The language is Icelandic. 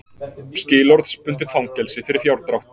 Skilorðsbundið fangelsi fyrir fjárdrátt